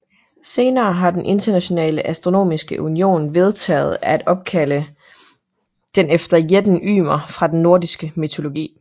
Senere har den Internationale Astronomiske Union vedtaget at opkalde den efter jætten Ymer fra den nordiske mytologi